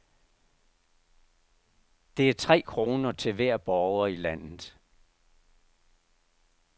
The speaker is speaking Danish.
Det er tre kroner til hver borger i landet.